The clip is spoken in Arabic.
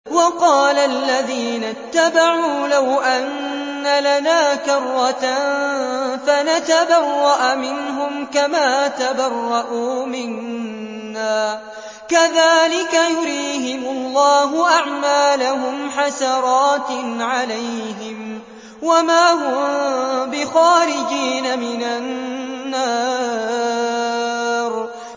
وَقَالَ الَّذِينَ اتَّبَعُوا لَوْ أَنَّ لَنَا كَرَّةً فَنَتَبَرَّأَ مِنْهُمْ كَمَا تَبَرَّءُوا مِنَّا ۗ كَذَٰلِكَ يُرِيهِمُ اللَّهُ أَعْمَالَهُمْ حَسَرَاتٍ عَلَيْهِمْ ۖ وَمَا هُم بِخَارِجِينَ مِنَ النَّارِ